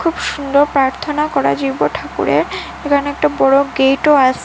খুব সুন্দর প্রার্থনা করা ঠাকুরের এখানে একটা বড়ো গেটও আসে ।